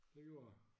Det gjorde det